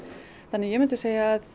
ég myndi segja að